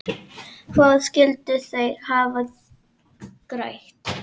Hvað skyldu þeir hafa grætt?